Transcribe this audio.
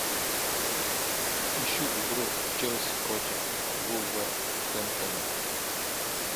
ищу игру челси против вулверхэмптона